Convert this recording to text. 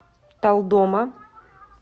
талдома